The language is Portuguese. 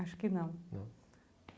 Acho que não. Não